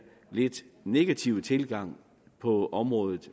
lidt negative tilgang på området